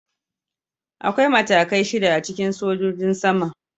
Akwai matakai shida a cikin sojojin sama.